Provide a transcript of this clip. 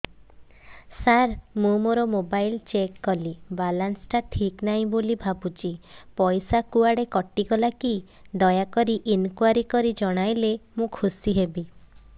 ସାର ମୁଁ ମୋର mobile check କଲି ବାଲାନ୍ସ ଟା ଠିକ ନାହିଁ ବୋଲି ଭାବୁଛି ପଇସା କୁଆଡେ କଟି ଗଲା କି ଦୟାକରି ଇନକ୍ୱାରି କରି ଜଣାଇଲେ ମୁଁ ଖୁସି ହେବି